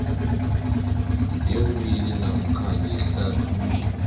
wewili namkha ngehlathululo